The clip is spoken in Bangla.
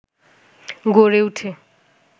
গড়ে ওঠে